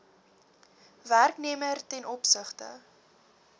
werknemer ten opsigte